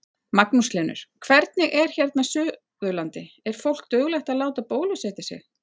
Magnús Hlynur: Hvernig er hérna Suðurlandi, er fólk duglegt að láta bólusetja sig?